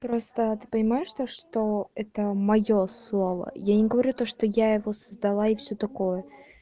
просто ты понимаешь то что это моё слово я не говорю то что я его создала и все такое